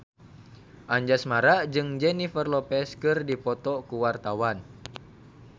Anjasmara jeung Jennifer Lopez keur dipoto ku wartawan